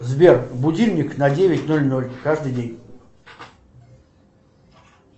сбер будильник на девять ноль ноль каждый день